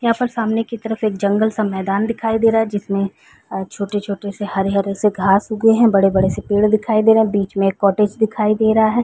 यहाँ पर सामने की तरफ एक जंगल सा मैदान दिखाई दे रहा है जिसमे अ छोटे-छोटे से हरे-हरे से घास उगे है बड़े-बड़े से पेड़ दिखाई दे रहा है बिच में एक कॉटेज दिखाई दे रहा है।